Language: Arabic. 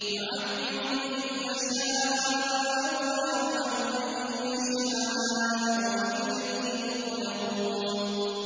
يُعَذِّبُ مَن يَشَاءُ وَيَرْحَمُ مَن يَشَاءُ ۖ وَإِلَيْهِ تُقْلَبُونَ